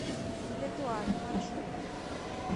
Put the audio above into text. летуаль маршрут